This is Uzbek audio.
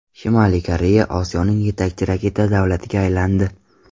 Shimoliy Koreya Osiyoning yetakchi raketa davlatiga aylandi.